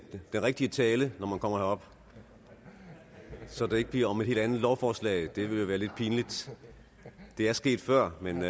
rigtige tale når man kommer herop så det ikke bliver om et helt andet lovforslag det vil jo være lidt pinligt det er sket før men